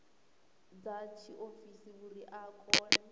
dza tshiofisi uri a kone